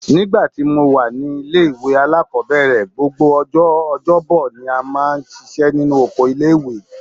Nígbà tí mo wà ní ilé-ìwé alákọ́bẹ̀rẹ̀, gbogbo ọjọ́ ọjọ́bọ ni a máa ń ṣiṣẹ́ nínú oko ilé-ìwé